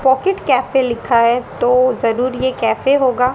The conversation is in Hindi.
पॉकेट कैफे लिखा है तो जरूर ये कैफे होगा--